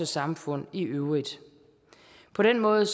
samfund i øvrigt på den måde